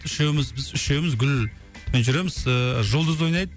үшеуміз біз үшеуміз гүлмен жүреміз ыыы жұлдыз ойнайды